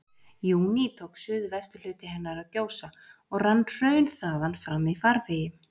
júní tók suðvesturhluti hennar að gjósa, og rann hraun þaðan fram í farvegi